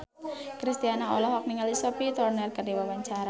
Kristina olohok ningali Sophie Turner keur diwawancara